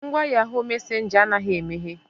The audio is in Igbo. Ngwa yahoo messenger anaghị emeghe.